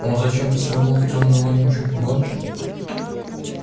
он зачем-то свернул в тёмную вонючую подворотню